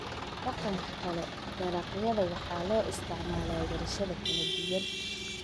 Dhanka kale, dalagyada waxaa loo isticmaalaa warshado kala duwan.